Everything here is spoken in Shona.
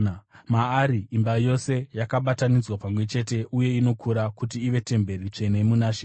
Maari imba yose yakabatanidzwa pamwe chete uye inokura kuti ive temberi tsvene muna She.